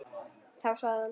Þá sagði hann.